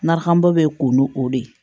Narafanbɔ bɛ ko nu o de ye